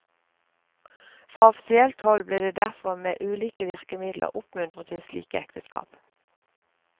Fra offisielt hold ble det derfor med ulike virkemidler oppmuntret til slike ekteskap.